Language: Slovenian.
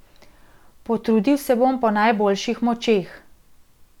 Potrudil se bom po najboljših močeh.